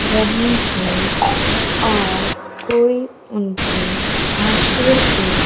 रहे हैं और कोई उनको भाषण दे--